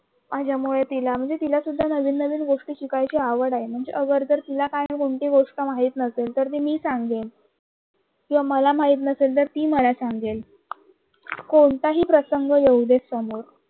माझ्यामुळे तिला, तिला सुद्धा नवीन नवीन गोष्टी शिकायची आवड आहे म्हणजे खर तर तिला कोणती गोष्ट माहिती नसेल तर ते मी सांगेल किवा मला महित नसेल नसेल तर ती सांगे कोणताही प्रसंग येऊ दे समोर